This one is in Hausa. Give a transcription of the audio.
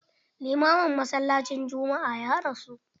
Limamin masallacin juma'a ya rasu.